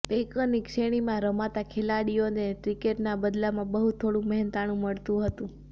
પૈકરની શ્રેણીમાં રમતા ખેલાડીઓને ક્રિકેટના બદલામાં બહુ થોડુ મહેનતાણુ મળતુ હતુ